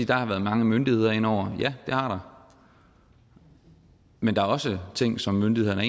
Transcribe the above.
der har været mange myndigheder ind over ja det har der men der er også ting som myndighederne af